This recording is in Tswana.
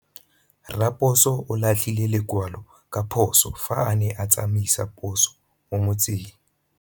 Raposo o latlhie lekwalô ka phosô fa a ne a tsamaisa poso mo motseng.